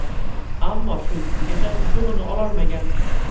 Ammo shu kungacha yutug‘ini ololmagan.